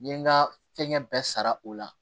N ye n ka fɛngɛ bɛɛ sara o la